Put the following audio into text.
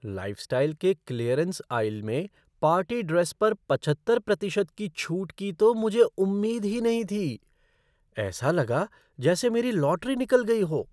Lifestyle के clearance aisle में party dress पर पचहत्तर प्रतिशत की छूट की तो मुझे उम्मीद ही नहीं थी। ऐसा लगा जैसे मेरी लॉटरी निकल गई हो!